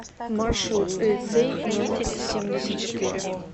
маршрут лицей номер семьдесят четыре